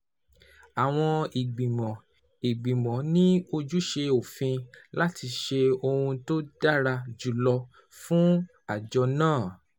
Àwọn ìgbìmọ̀ ìgbìmọ̀ ní ojúṣe òfin láti ṣe ohun tó dára jù lọ fún àjọ náà